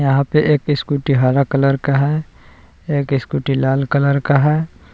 यहां पे एक स्कूटी हरा कलर का है एक स्कूटी लाल कलर का है।